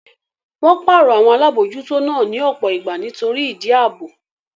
Wọ́n pàrọ̀ àwọn Alábòójútó náà ní ọ̀pọ̀ ìgbà nítorí ìdí ààbò